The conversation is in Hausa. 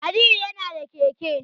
Aliyu yana da keke